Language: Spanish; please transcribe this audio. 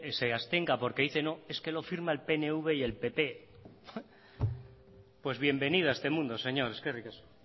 se abstenga porque dice no es que lo firma el pnv y el pp pues bienvenido a este mundo señor eskerrik asko